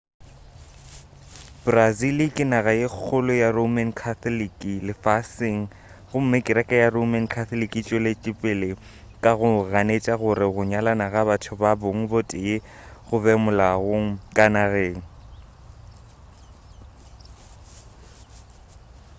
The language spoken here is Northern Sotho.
brazil ke naga ye kgolo ya roman catholic lefaseng gomme kereke ya roman catholic e tšwetšepele ka go ganetša gore go nyalana ga batho ba bong bo tee go be molaong ka nageng